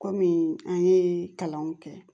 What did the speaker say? Kɔmi an ye kalanw kɛ